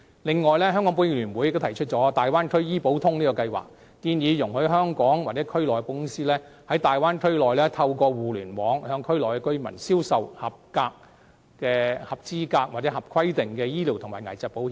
此外，香港保險業聯會亦提出"大灣區醫保通"計劃，建議容許香港或區內的保險公司，在大灣區內透過互聯網向區內居民銷售合資格和合規定的醫療及危疾保險。